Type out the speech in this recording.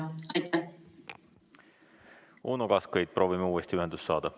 Uno Kaskpeit, proovime uuesti ühendust saada.